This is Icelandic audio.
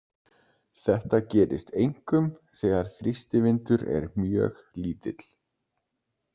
Þetta gerist einkum þegar þrýstivindur er mjög lítill.